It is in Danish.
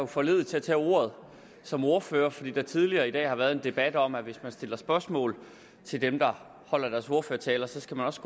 foranlediget til at tage ordet som ordfører fordi der tidligere i dag har været en debat om at hvis man stiller spørgsmål til dem der holder deres ordførertaler skal man også